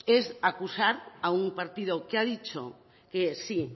es acusar a un partido que ha dicho que sí